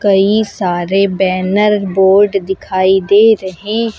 कई सारे banner board दिखाई दे रहे हैं।